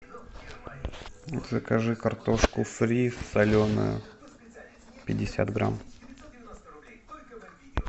закажи картошку фри соленую пятьдесят грамм